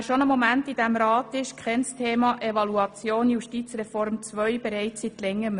Wer schon eine Weile in diesem Rat ist, kennt das Thema Evaluation Justizreform II bereits seit Längerem.